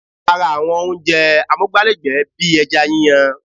A ra àwọn oúnjẹ amúgbálẹ́gbẹ̀ẹ́ bíi ẹja yíyan